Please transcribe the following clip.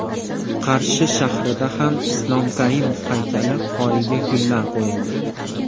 Qarshi shahrida ham Islom Karimov haykali poyiga gullar qo‘yildi.